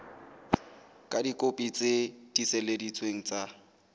ka dikopi tse tiiseleditsweng tsa